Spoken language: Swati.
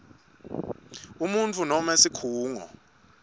umuntfu noma sikhungo